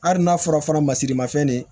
Hali n'a fɔra fɔlɔ masiri mafɛn de